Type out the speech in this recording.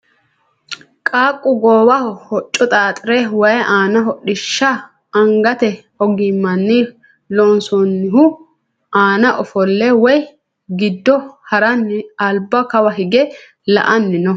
qaaqqu goowaho hocco xaaxire waye aani hodhishsha angate ogimmanni loonsoonnihu aana ofolle waye giddo haranni alba kawa hige la"anni no